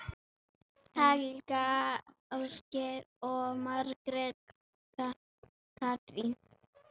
Helga, Ásgeir og Margrét Katrín.